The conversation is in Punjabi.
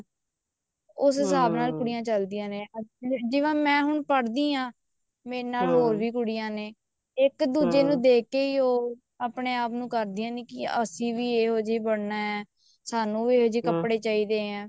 ਉਸ ਹਿਸਾਬ ਨਾਲ ਕੁੜੀਆਂ ਚਲਦੀਆਂ ਨੇ ਜਿਵੇਂ ਮੈਂ ਹੁਣ ਪੜ੍ਹਦੀ ਹਾਂ ਮੇਰੇ ਨਾਲ ਹੋਰ ਵੀ ਕੁੜੀਆਂ ਨੇ ਇੱਕ ਦੂਜੇ ਨੂੰ ਦੇਖ ਕੇ ਹੀ ਉਹ ਆਪਣੇ ਆਪ ਨੂੰ ਕਰਦੀਆਂ ਨੇ ਵੀ ਅਸੀਂ ਵੀ ਇਹੋ ਜਿਹੇ ਬਣਨਾ ਸਾਨੂੰ ਵੀ ਇਹੋ ਜਿਹੇ ਕੱਪੜੇ ਚਾਹੀਦੇ ਆ